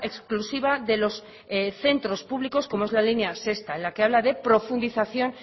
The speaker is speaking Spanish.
exclusiva de los centros públicos como es la línea sexta en la que habla de profundización